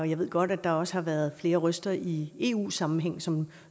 jeg ved godt at der også har været flere røster i eu sammenhæng som